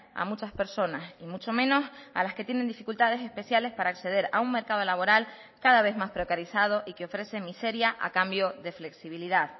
a muchas personas y mucho menos a las que tienen dificultades especiales para acceder a un mercado laboral cada vez más precarizado y que ofrece miseria a cambio de flexibilidad